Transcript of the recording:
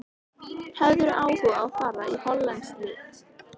Hefðirðu áhuga á að fara í hollenskt lið?